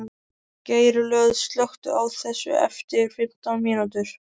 Geirlöð, slökktu á þessu eftir fimmtán mínútur.